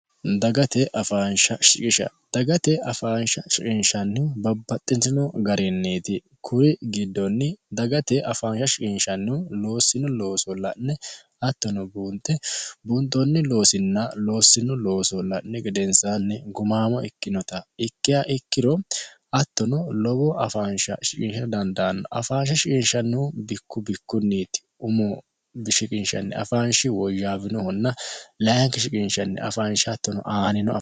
dagate afaansha shiqisha dagate afaansha shiqinshannihu babbaxxitino garinniiti kuri giddonni dagate afaansha shiqinshannihu loossino looso la'ne hattono buunxe buunxoonni loosinna loossino looso la'nihu gedensaanni gumaamo ikkinota ikkiha ikkiro hattono lowo afaansha shiqisha dandaanno afaansha shiqinshannihu bikku bikkunniiti umo shiqinshanni afaanshi woyyaawinohonna layinki shiqinshanni afaansha hattono aaninoho